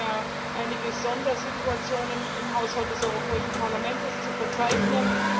Wir haben ja einige Sondersituationen im Haushalt des Europäischen Parlaments zu verzeichnen.